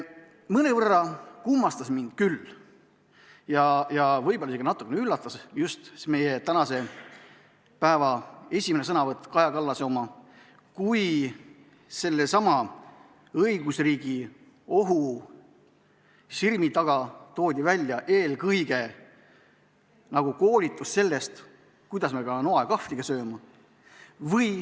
Mõnevõrra kummastas mind küll ja võib-olla isegi natukene üllatas meie tänase päeva esimene sõnavõtt, Kaja Kallase oma, kui sellesama õigusriigi ohu sirmi taga toodi välja eelkõige justkui koolitus sellest, kuidas me peame noa ja kahvliga sööma.